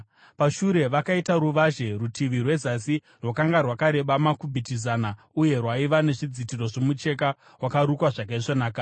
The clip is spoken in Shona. Pashure vakaita ruvazhe. Rutivi rwezasi rwakanga rwakareba makubhiti zana uye rwaiva nezvidzitiro zvomucheka wakarukwa zvakaisvonaka,